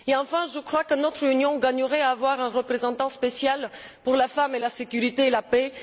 Enfin, je crois que notre Union gagnerait à avoir un représentant spécial pour la femme, la sécurité et la paix.